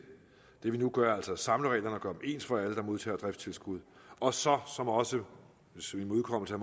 det vi nu gør er altså at samle reglerne og gøre ens for alle der modtager driftstilskud og så også som en imødekommelse af